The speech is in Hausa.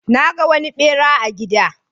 Na ga wani ɓera a gida.